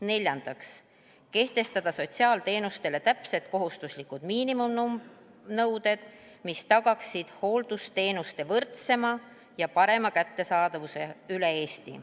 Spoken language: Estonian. Neljandaks, kehtestada sotsiaalteenustele täpsed kohustuslikud miinimumnõuded, mis tagaksid hooldusteenuste võrdsema ja parema kättesaadavuse üle Eesti.